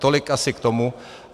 Tolik asi k tomu.